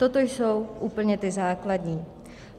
Toto jsou úplně ty základní.